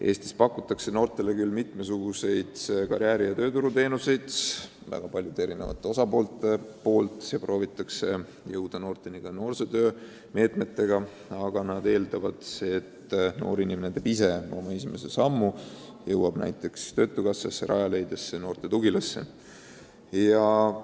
Eestis pakutakse noortele küll mitmesuguseid karjääri- ja tööturuteenuseid väga erinevate osapoolte poolt ja proovitakse jõuda noorteni ka noosootöö meetmete abil, aga selle juures eeldatakse, et noor inimene teeb ise esimese sammu, jõuab näiteks töötukassasse, Rajaleidja keskusse, noorte tugilasse.